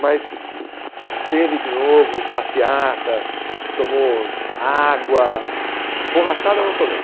Mas teve de novo passeata, tomou água, borrachada não tomei.